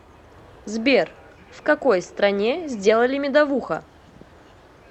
сбер в какой стране сделали медовуха